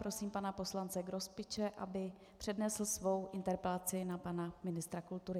Prosím pana poslance Grospiče, aby přednesl svou interpelaci na pana ministra kultury.